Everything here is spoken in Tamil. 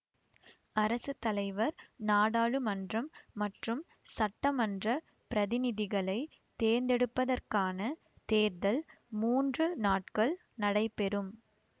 அரசு தலைவர் நாடாளுமன்றம் மற்றும் சட்டமன்றப் பிரதிநிதிகளை தேர்ந்தெடுப்பதற்கான தேர்தல் மூன்று நாட்கள் நடைபெறும்